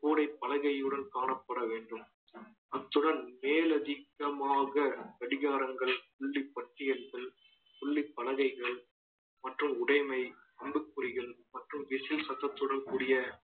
கூடைப் பலகையுடன் காணப்பட வேண்டும் அத்துடன் மேலதிக்கமாக கடிகாரங்கள் புள்ளி பட்டியல்கள் புள்ளிப் பலகைகள் மற்றும் உடைமை அம்புக்குறிகள் மற்றும் விசில் சத்தத்துடன் கூடிய